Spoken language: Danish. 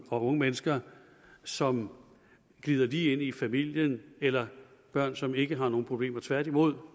og unge mennesker som glider lige ind i familien eller børn som ikke har nogen problemer tværtimod